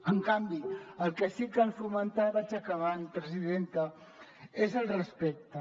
en canvi el que sí que cal fomentar vaig acabant presidenta és el respecte